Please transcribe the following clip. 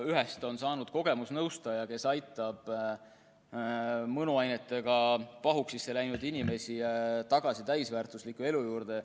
Ühest on saanud kogemusnõustaja, kes aitab mõnuainetega pahuksisse läinud inimesi tagasi täisväärtusliku elu juurde.